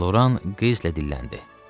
Loran qəzblə dilləndi.